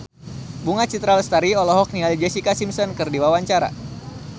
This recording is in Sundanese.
Bunga Citra Lestari olohok ningali Jessica Simpson keur diwawancara